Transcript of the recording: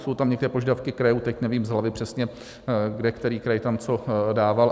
Jsou tam některé požadavky krajů, teď nevím z hlavy přesně, kde který kraj tam co dával.